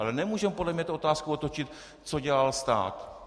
Ale nemůžeme podle mě tu otázku otočit - co dělal stát.